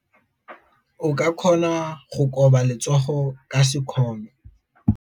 O ka kgona go koba letsogo ka sekgono.